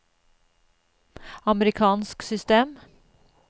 amerikansk system